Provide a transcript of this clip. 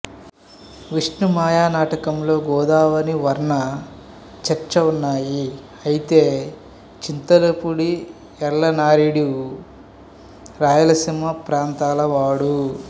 విష్ణు మాయా నాటకంలో గోదావరి వర్ణన చర్చా ఉన్నాయి అయితే చింతల పూడి ఎల్లనార్యుడు రాయలసీమ ప్రాంతాల వాడు